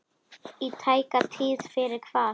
Í tæka tíð fyrir hvað?